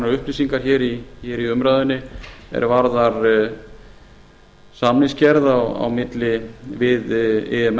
upplýsingar hér í umræðunni er varða samningsgerð á milli við imf